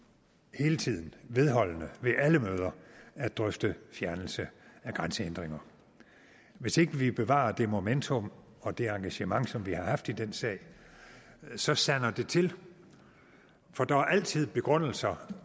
hele tiden vedholdende ved alle møder at drøfte fjernelse af grænsehindringer hvis ikke vi bevarer det momentum og det engagement som vi haft i den sag så sander det til for der er altid begrundelser